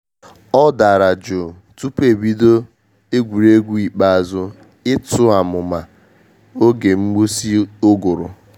Ọ dara jụụ tupu e bido egwuregwu ikpeazụ ịtụ amụma oge mgbusị uguru.